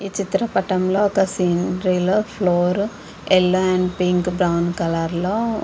ఈ చిత్ర పటంలొ ఒక స్కీనేరి లో yellow and pink brown green colour లొ --